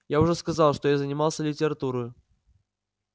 я уже сказал что я занимался литературой